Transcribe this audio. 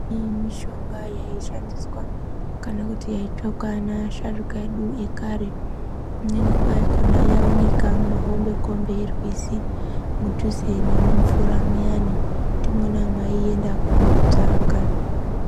Imweni mishonga yaishandiswa kana kuti yaitsvakwa neakuru edu ekarie imweni yakhona yaiwonekwa mumahombekombe erwizi mudhuze nemumvura muyani ndimwona mwavaienda koitsvaka.